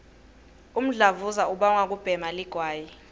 umdlavuza ubangwa kubhema ligwayi